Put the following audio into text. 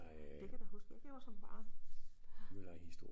Det kan jeg da huske jeg gjorde som barn